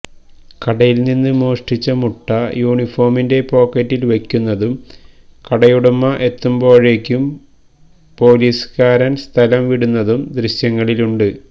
കടയില്നിന്ന് മോഷ്ടിച്ച മുട്ട യൂണിഫോമിന്റെ പോക്കറ്റില് വയ്ക്കുന്നതും കടയുടമ എത്തുമ്പോഴേയ്ക്ക് പോലീസുകാരന് സ്ഥലംവിടുന്നതും ദൃശ്യങ്ങളിലുണ്ട്